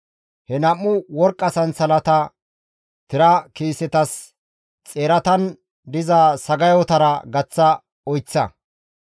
He nam7u worqqa sansalatata tira kiisetas xeeratan diza sagayotara gaththa oyththa.